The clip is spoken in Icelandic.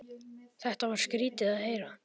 Þetta var skrýtið að heyra.